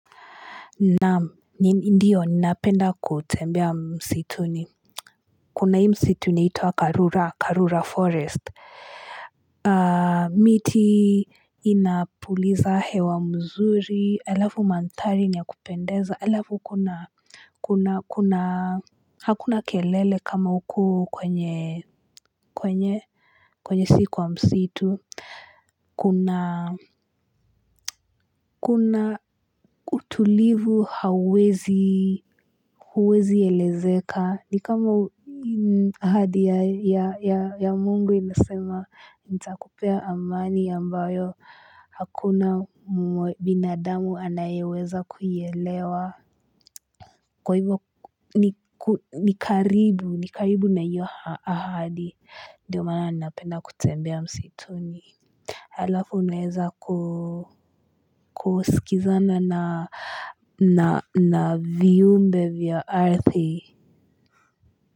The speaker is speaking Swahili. Naamu ndiyo ninapenda kutembea msituni kuna hii msituni inaitwa karura karura forest aaa miti inapuliza hewa mzuri alafu mandhari nia kupendeza alafu kuna kuna kuna hakuna kelele kama huku kwenye kwenye kwenye si kuwa msitu Kuna utulivu hawezi, huwezi elezeka. Ni kama ahadi ya mungu inasema, nita kupea amani ambayo hakuna binadamu anayeweza kuielewa. Kwa hivyo ni karibu, ni karibu na hiyo ahadi. Ndiyo maana napenda kutembea msituni. Alafu naeza kusikizana na viumbe vya ardhi.